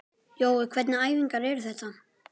Jói, hvernig æfingar eru þetta?